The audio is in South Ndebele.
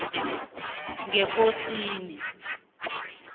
ngekosini